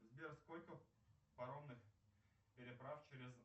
сбер сколько паромных переправ через